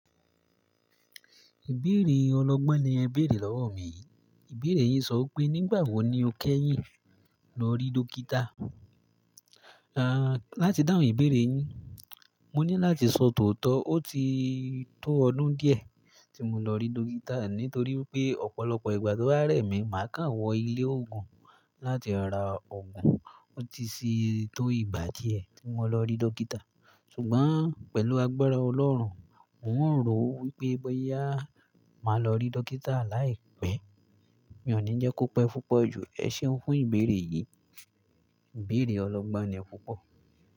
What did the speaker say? Ìbéèrè ọlọ́gbọ́n ni ẹ béèrè lọ́wọ́ mi. Ìbéèrè yíi sọ wi pé nígbà wo ni o kẹ́yìn lọ rí dókítà? Àn! Láti dáhùn ìbéèrè yín, mo ní láti sọ tòótọ́. Ó ti tó ọdún díẹ̀ tí mo lọ rí dókítà nítorí pé ọ̀pọ̀lọpọ̀ ìgbà tó bá rẹ̀ mí, màá kàn wọ ilé òògùn láti ra òògùn. Ó ti sí tó ìgbà díẹ̀ tí mo lọ rí dókítà. Ṣùgbọ́n pẹ̀lú agbára Ọlọ́run, mò ń rò wípé bóyá màá lọ rí dókítà láìpẹ́. Mi ò ní jẹ́ kó pẹ́ pupọ̀jù. Ẹ ṣéun fún ìbéèrè yìí. Ìbéèrè ọlọ́gbọ́n ni púpọ̀.